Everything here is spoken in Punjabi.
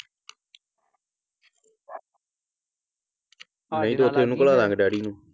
ਨਹੀਂ ਤੇ ਉਹ ਘਲਾਦਾਂਗੇ ਡੈਡੀ ਨੂੰ।